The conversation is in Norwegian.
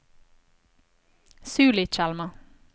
Sulitjelma